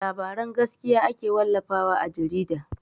Labaran gaskiya ake wallafa wa a jarida.